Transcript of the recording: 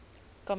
kameel